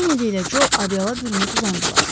Kenedi ilə Co adialla bürünüb uzandılar.